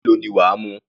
Ìgò ọtí mélòó ni wà á mu?